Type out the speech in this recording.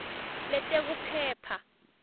letekuphepha